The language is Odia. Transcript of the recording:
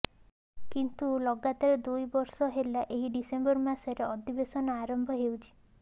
କିନ୍ତୁ ଲଗାତର ଦୁଇ ବର୍ଷ ହେଲା ଏହି ଡିସେମ୍ବରେ ମାସରେ ଅଧିବେଶନ ଆରମ୍ଭ ହେଉଛି